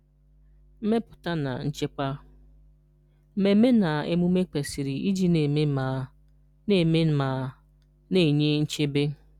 Mmepụta na Nchekwa: Mmemme na emume kwesiri iji na-eme ma na-eme ma na-enye nchebe.